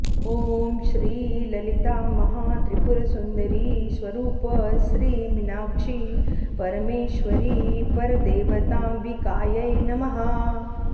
ॐ श्री ललितामहात्रिपुरसुन्दरी स्वरूप श्री मीनाक्षी परमेश्वरी परदेवतांबिकायै नमः